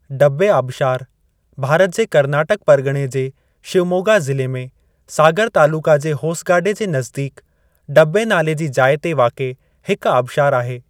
डब्बे आबिशारु भारत जे कर्नाटक परगि॒णे जे शिवमोगा ज़िले में सागर तालुक़े जे होसगाडे जे नज़दीकु डब्बे नाले जी जाइ ते वाक़िए हिकु आबिशारु आहे।